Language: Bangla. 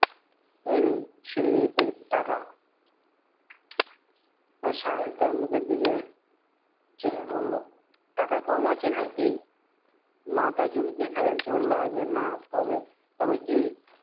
এই নিন সিলিপ এর টাকা । সাহেব তার মুখের দিকে চেয়ে বললো, টাকা কম আছে নাকি? মাথা চুলকিয়ে খাজাঞ্চি বললো, আজ্ঞে না । তবে? তবে কি?